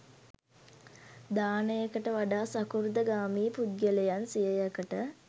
දානයට වඩා සකෘදාගාමි පුද්ගලයන් සියයකට